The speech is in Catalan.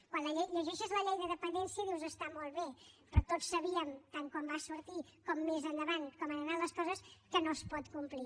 quan llegeixes la llei de dependència dius està molt bé però tots sabíem tan quan va sortir com més endavant com han anat les coses que no es pot complir